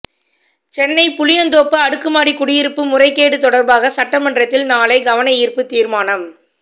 சென்னை புளியந்தோப்பு அடுக்குமாடி குடியிருப்பு முறைகேடு தொடர்பாக சட்டமன்றத்தில் நாளை கவன ஈர்ப்பு தீர்மானம்